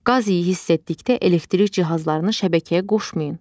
Qaz iyi hiss etdikdə elektrik cihazlarını şəbəkəyə qoşmayın.